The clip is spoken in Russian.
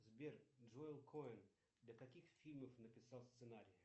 сбер джоэл коэн для каких фильмов написал сценарии